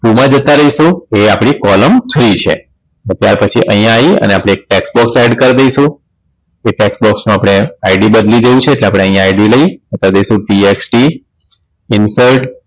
Two મા જતા રઈશું એ આપણી column three છે ત્યાર પછી અહીંયા આવી અને આપણે tax box add કર દઈશું એ tax box ને આપણે ID બદલી દેવી છે એટલે આપણે અહીંયા ID લઈ કર દઈશું TXTinsert